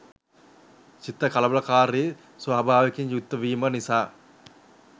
සිත කලබලකාරී ස්වභාවයකින් යුක්තවීම නිසා